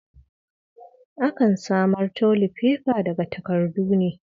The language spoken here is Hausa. Akan samar tolifefa daga takardu ne.